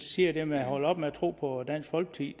siger med at holde op med at tro på dansk folkeparti